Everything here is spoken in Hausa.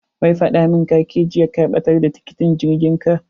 Wai faɗa mun kake jiya ka ɓatar da tiketin jirgin ka.